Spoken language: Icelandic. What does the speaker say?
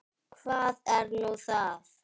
Hvað er nú það?